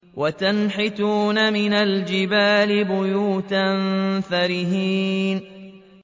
وَتَنْحِتُونَ مِنَ الْجِبَالِ بُيُوتًا فَارِهِينَ